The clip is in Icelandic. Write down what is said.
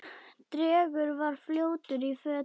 Drengur var fljótur í fötin.